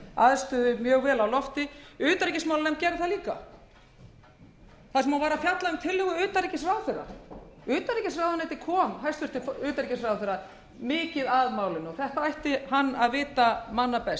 vel á lofti utanríkismálanefnd gerði það líka þar sem hún var að fjalla um tillögur utanríkisráðherra utanríkisráðuneytið kom hæstvirts utanríkisráðherra mikið að málinu og þetta ætti hann að vita manna best en hvað sagði meðal